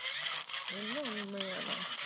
என்ன உண்மையாதான்